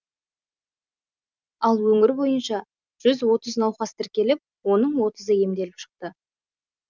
ал өңір бойынша жүз отыз науқас тіркеліп оны отызы емделіп шықты